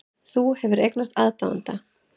Þú hefur eignast aðdáanda.